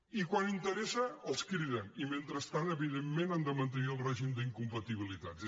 i quan interessa els criden i mentrestant evi·dentment han de mantenir el règim d’incompatibili·tats